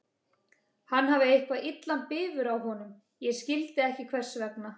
Hann hafði eitthvað illan bifur á honum, ég skildi ekki hvers vegna.